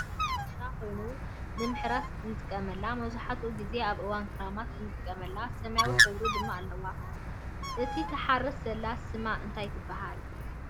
ቡዙሕ ማሕረሻ ዘለዋ ኮይና ንምሕራስ እንጠቀመላ ። መብዛሕቲኡ ግዜ ኣብ እዋን ክራማት እና እንጥቀመላ። ሰማያዊ ሕብሪ ድማ አለዋ ። እቲ ትሓርስ ዘለ ስማ እንታይ ትብሃል